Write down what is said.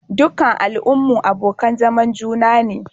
Dukkan al'ummu abokan zaman juna ne.